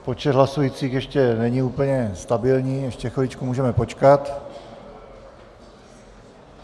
Počet hlasujících ještě není úplně stabilní, ještě chvilku můžeme počkat.